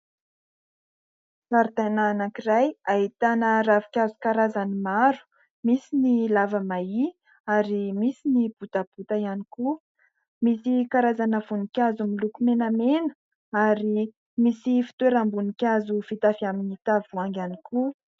Zaridaina anankiray ahitana ravinkazo karazany maro. Misy ny lava mahia ary misy ny botabota ihany koa ; misy karazana voninkazo miloko menamena ary misy fitoeram-boninkazo vita avy amin'ny tavoahangy ihany koa.